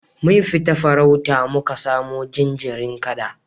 Mun fita farauta muka samu jinjirin kada